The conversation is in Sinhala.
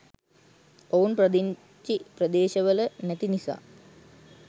ඔවුන් පදිංචි ප්‍රදේශවල නැති නිසා